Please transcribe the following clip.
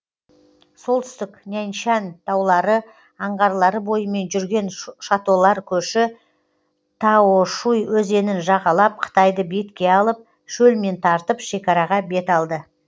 солтүстік няньшань таулары аңғарлары бойымен жүрген шатолар көші таошуй өзенін жағалап қытайды бетке алып шөлмен тартып шекараға бет алды